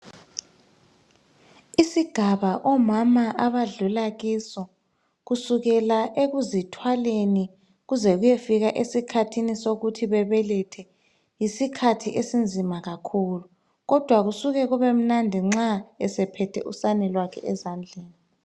Isigaba omama abadlula kiso kusukela ekuzithwaleni, kuze kuyefika esikhathini sokuthi babelethe , yisikhathi esinzima kakhulu. Kodwa kusuka kubemnandi nxa esephethe usane lwakhe ezandleni.